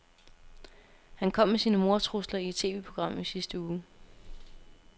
Han kom med sine mordtrusler i et TVprogram i sidste uge.